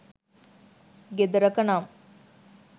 ගෙදරක නම්